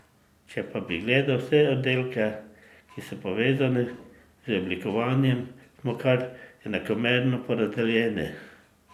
Če pa bi gledal vse oddelke, ki so povezani z oblikovanjem, smo kar enakomerno porazdeljeni.